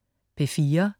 P4: